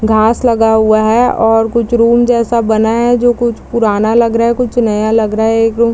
घास लगा हुआ है और कुछ रूम जैसा बना है जो कुछ पुराना लग रहा है कुछ नया लग रहा है एक रूम --